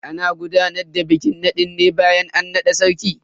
Ana gudanar da bikin nadin bayan an nada sarki.